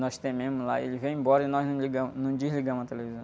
Nós lá, ele veio embora e nós não ligamos, não desligamos a televisão.